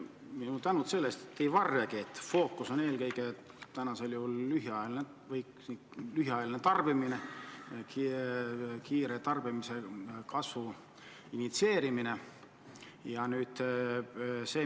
Palju tänu selle eest, et te ei varjagi, et fookus on eelkõige lühiajalisel tarbimisel, tarbimise kiire kasvu initsieerimisel.